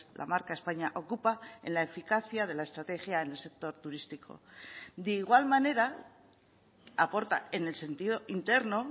la marca españa ocupa en la eficacia de la estrategia en el sector turístico de igual manera aporta en el sentido interno